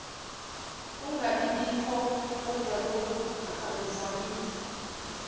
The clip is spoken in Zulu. ungabibikho kodwalokhu akuvamile